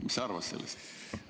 Mis sa arvad sellest?